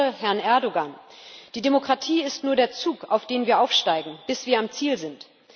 Ich zitiere Herrn Erdoğan Die Demokratie ist nur der Zug, auf den wir aufsteigen, bis wir am Ziel sind.